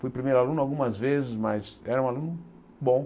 Fui primeiro aluno algumas vezes, mas era um aluno bom.